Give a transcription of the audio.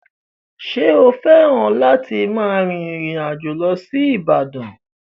Ṣé o fẹ́ràn láti máa rin ìrìn àjò lọ sí Ibadan?